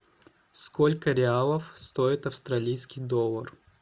сколько реалов стоит австралийский доллар